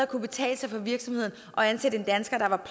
kunne betale sig for virksomheden at ansætte en dansker der var